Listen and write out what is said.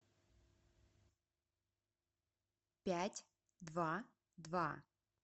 пять два два